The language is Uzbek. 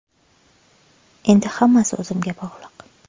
Endi hammasi o‘zimga bog‘liq.